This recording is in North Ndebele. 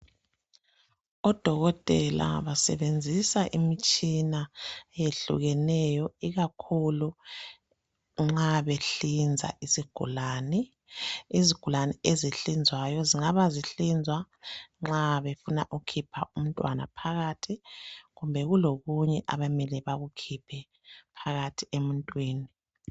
Odokotela basebenzisa imitshina eyehlukeneyo ikakhulu nxa behlinza izigulane. Izigulane ezinhlinzwayo zingaba zihlinzwa nxa befuna ukukhipha umntwana phakathi kumbe kulokunye abamele bakukhiphe phakathi emuntwini.